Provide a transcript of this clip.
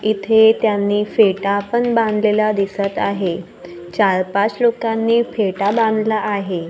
इथे त्यांनी फेटा पण बांधलेला दिसत आहे चार पाच लोकांनी फेटा बांधला आहे.